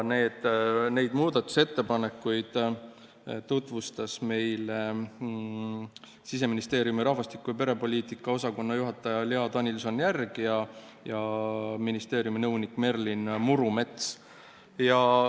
Neid muudatusettepanekuid tutvustasid meile Siseministeeriumi rahvastiku- ja perepoliitika osakonna juhataja Lea Danilson-Järg ja nõunik Merlin Murumets.